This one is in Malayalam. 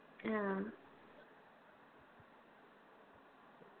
ആ